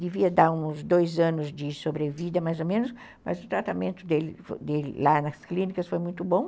Devia dar uns dois anos de sobrevida, mais ou menos, mas o tratamento dele lá nas clínicas foi muito bom.